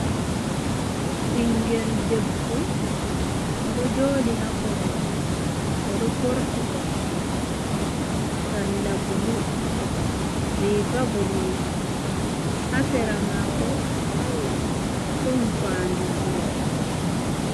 Ɓingel debbo o ɗo joɗi ha korwal, oɗo forti kosɗe sarla blu, riga boɗejum. Ha sera mako ɗon fandu ndiyam.